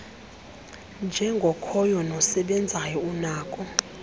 njengokhoyo nosebenzayo unako